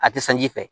A tɛ sanji fɛ